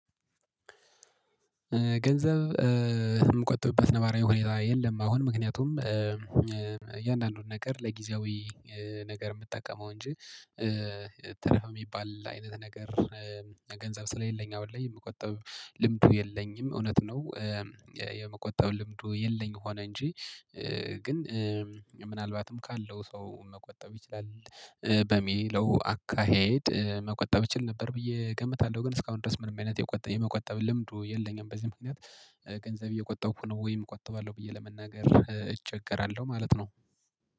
ገንዘብ የምቆጥብበት ነባራዊ ሁኔታ የለም አሁን። ምክንያቱም እያንዳንዱን ነገር ለጊዜያዊ ነገር የምጠቀመው እንጂ ተረፈ የሚባል አይነት ነገር ገንዘብ ስለሌለኝ አሁን ላይ የምቆጠብ ልምዱ የለኝም። እውነት ነው የመቆጠብ ልምዱ የለኝ ሆነ እንጂ ግን ምናልባትም ካለው ሰው መቆጠብ ይችላል በሚለው አካሄድ መቆጠብ እችል ነበር ብዬ እገምታለሁ። ግን እስካሁን ድረስ ምንም አይነት የመቆጠብ ልምዱ የለኝም። በዚህ ምክንያት ገንዘብ እየቆጠብኩ ነው ወይም እቆጥባለሁ ብዬ ለመናገር እቸገራለሁ ማለት ነው።